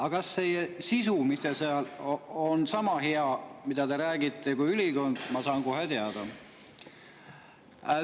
Aga kas see sisu, mis teil seal on ja mida te räägite, sama hea kui ülikond, saan ma kohe teada.